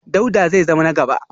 Dauda zai zama na gaba